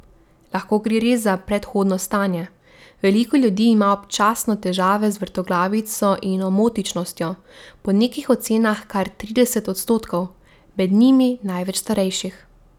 Lahko gre res le za prehodno stanje, veliko ljudi ima občasno težave z vrtoglavico in omotičnostjo, po nekih ocenah kar trideset odstotkov, med njimi največ starejših.